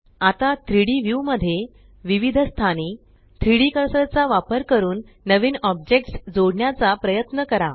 आता 3डी व्यू मध्ये विविध स्थानी 3डी कर्सर चा वापर करून नवीन ऑब्जेक्ट्स जोडण्याचा प्रयत्न करा